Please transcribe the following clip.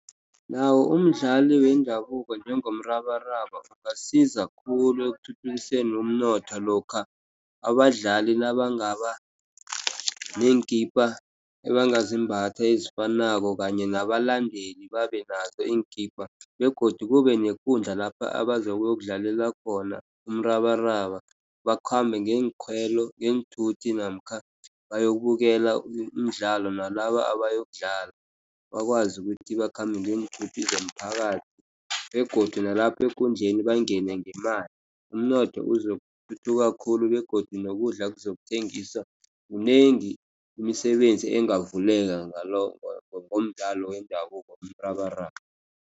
Nawo umdlali wendabuko njengomrabaraba ungasiza khulu, ekuthuthukiseni umnotho lokha, abadlali nabangaba neenkipa ebangazimbatha ezifanako kanye nabalandeli babe nazo iinkipa, begodu kube nekundla lapha abazobe bayokudlalela khona umrabaraba. Bakhambe ngeenthuthi namkha bayokubukela umdlalo, nalaba abayokudlala, bakwazi ukuthi bakhambe ngeenthuthi zomphakathi, begodu nalapho ekundleni bangene ngemali. Umnotho uzokuthuthuka khulu, begodu nokudla kuzokuthengiswa, mnengi imisebenzi engavuleka ngalokho, ngomdlalo wendabuko womrabaraba.